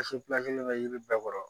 bɛ yiri bɛɛ kɔrɔ